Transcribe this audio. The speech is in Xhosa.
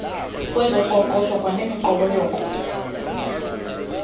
kwezoqoqosho kwanemiqobo yoko